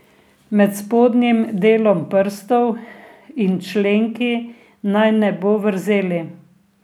Med spodnjim delom prstov in členki naj ne bo vrzeli.